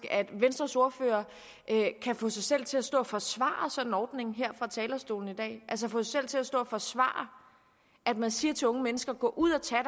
at venstres ordfører kan få sig selv til at stå og forsvare sådan en ordning her fra talerstolen i dag altså få sig selv til at stå og forsvare at man siger til unge mennesker gå ud og tag